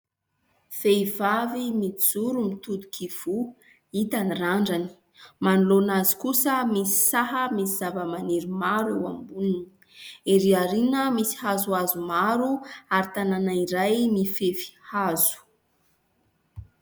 Vehivavy mijoro mitodika ivoho, hita ny randrany. Manoloana azy kosa misy saha misy zava-maniry maro eo aboniny. Erỳ aoriana misy hazohazo maro ary tanana iray mifefy hazo.